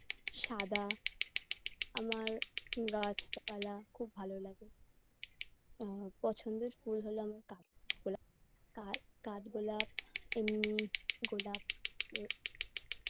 সাদা আমার গাছপালা খুব ভাল লাগে আ পছন্দের ফুল হল আমার কাঠ গোলাপ কা কাঠগোলাপ এমনি গোলাপ ও